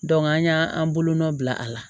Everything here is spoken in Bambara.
an y'an bolonɔn bila a la